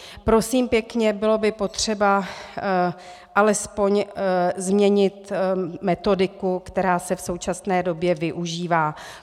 Prosím pěkně, bylo by potřeba alespoň změnit metodiku, která se v současné době využívá.